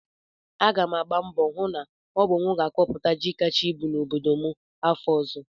Aga m agba mbọ hụ na ọ bụ m ga-akọpụta ji kacha ibu n'obodo m afọ ọzọ